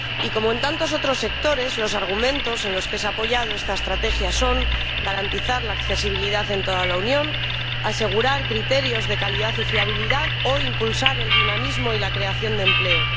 Y, como en tantos otros sectores, los argumentos en los que se ha apoyado esta estrategia son garantizar la accesibilidad en toda la Unión, asegurar criterios de calidad y fiabilidad o impulsar el dinamismo y la creación de empleo.